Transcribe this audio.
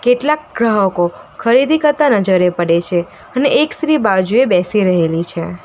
કેટલાક ગ્રાહકો ખરીદી કરતા નજરે પડે છે અને એક સ્ત્રી બાજુએ બેસી રહેલી છે.